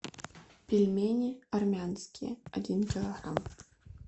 пельмени армянские один килограмм